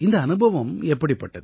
இந்த அனுபவம் எப்படிப்பட்டது